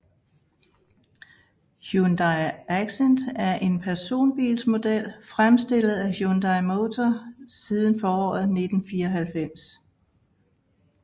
Hyundai Accent er en personbilsmodel fremstillet af Hyundai Motor siden foråret 1994